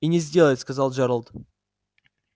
и не сделает сказал джералд